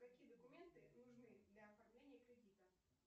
какие документы нужны для оформления кредита